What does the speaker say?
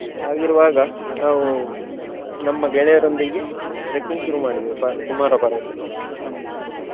ಹಾಗಿರುವಾಗ ನಾವು ನಮ್ಮ ಗೆಳೆಯರೊಂದಿಗೆ trekking ಶುರು ಮಾಡಿದೆವು ಪ~ ಕುಮಾರ ಪರ್ವತಕ್ಕೆ.